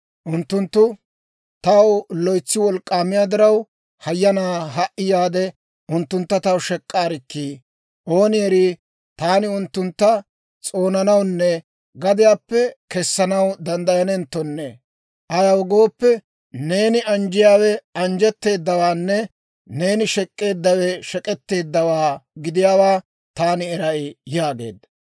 Unttunttu taw loytsi wolk'k'aamiyaa diraw, hayyanaa ha"i yaade, unttuntta taw shek'k'aarikkii! Ooni erii, taani unttuntta s'oonanawunne gadiyaappe kessanaw danddayanenttonne. Ayaw gooppe, neeni anjjeedawe anjjetteedawaanne neeni shek'k'eeddawe shek'etteeddawaa gidiyaawaa taani eray» yaageedda.